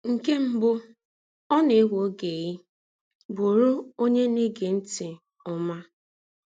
Nkè mbụ́, ọ̀ na-èwè́ ògé í bùrù ònyé na-égé ntị̀ ọ́mà.